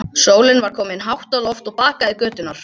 Sólin var komin hátt á loft og bakaði göturnar.